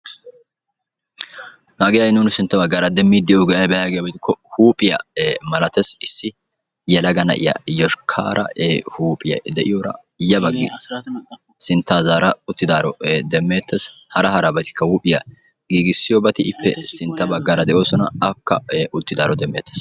Hagee ha'i nuuni sintta baggaara demmiiddi de'iyogee ayibee yaagiyaba gidikko huuphiya malates. Yelaga na'iya yoshkkaara huuphphe de'iyora yabaggi sinttaa zaara uttidaaro demmeettes. Hara harabatikka huuphiya giigissiyobati ippe sintta baggaara de'oosona. Akka uttidaaro demmeettes.